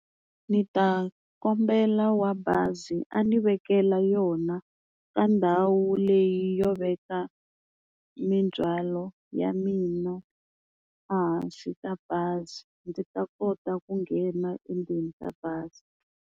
Ndzi ta kombela wa bazi a ni vekela yona ka ndhawu leyi yo veka mindzwalo ya mina ehansi ka bazi ndzi ta kota ku nghena endzeni ka bazi.